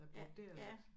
Jeg broderer lidt